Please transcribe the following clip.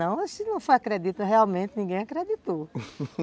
Não, se não foi acredito, realmente ninguém acreditou